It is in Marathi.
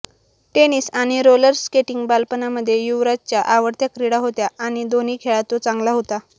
टेनिस आणि रोलर स्केटिंग बालपणामध्ये युवराजच्या आवडत्या क्रीडा होत्या आणि दोन्ही खेळात तो चांगला होता